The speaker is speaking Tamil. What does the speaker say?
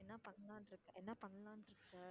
என்ன பண்ணலாம்னு இருக்க, என்ன பண்ணலாம்னு இருக்க?